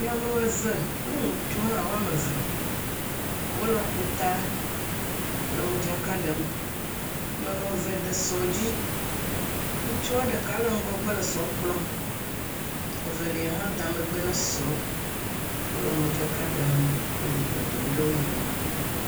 Nyɔnu eve kpli ŋutsu hã wòa me eve wole ƒuta le modzaka ɖem. Nyɔnu eve de esɔ dzi, ŋutsua ɖeka le ŋgɔgbe le esɔ kplɔ evelia hã da megbe sɔ, wole modzaka ɖem . Wòle dzidzɔ dom ɖe wò nɔe wò nu.